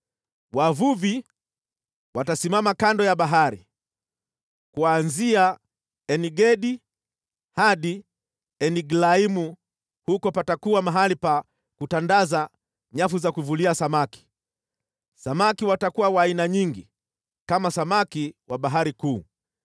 Wavuvi watasimama kando ya bahari, kuanzia En-Gedi hadi En-Eglaimu huko patakuwa mahali pa kutandaza nyavu za kuvulia samaki. Samaki watakuwa wa aina nyingi, kama samaki wa Bahari Kuu